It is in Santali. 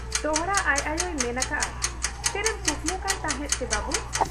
ᱫᱚᱦᱲᱟ ᱟᱡ ᱟᱭᱚᱭ ᱢᱮᱱ ᱟᱠᱟᱜ ᱟ, ᱪᱮᱫ ᱮᱢ ᱠᱩᱠᱢᱩ ᱠᱟᱱ ᱛᱟᱦᱮᱸᱫ ᱪᱤ ᱵᱟᱹᱵᱩ ?